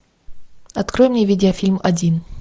открой мне видео фильм один